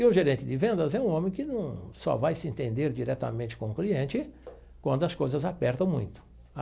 E o gerente de vendas é um homem que num só vai se entender diretamente com o cliente quando as coisas apertam muito.